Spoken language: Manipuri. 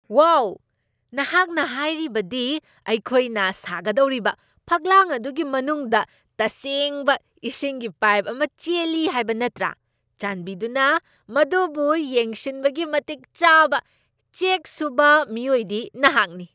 ꯋꯥꯎ, ꯅꯍꯥꯛꯅ ꯍꯥꯏꯔꯤꯕꯗꯤ ꯑꯩꯈꯣꯏꯅ ꯁꯥꯒꯗꯧꯔꯤꯕ ꯐꯛꯂꯥꯡ ꯑꯗꯨꯒꯤ ꯃꯅꯨꯡꯗ ꯇꯁꯦꯡꯕ ꯏꯁꯤꯡꯒꯤ ꯄꯥꯏꯞ ꯑꯃ ꯆꯦꯜꯂꯤ ꯍꯥꯏꯕ ꯅꯠꯇ꯭ꯔꯥ? ꯆꯥꯟꯕꯤꯗꯨꯅ, ꯃꯗꯨꯕꯨ ꯌꯦꯡꯁꯤꯟꯕꯒꯤ ꯃꯇꯤꯛ ꯆꯥꯕ ꯆꯦꯛ ꯁꯨꯕ ꯃꯤꯑꯣꯏꯗꯤ ꯅꯍꯥꯛꯅꯤ ꯫